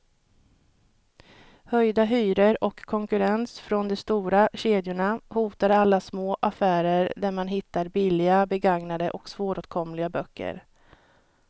Höjda hyror och konkurrens från de stora kedjorna hotar alla små affärer där man hittar billiga, begagnade och svåråtkomliga böcker.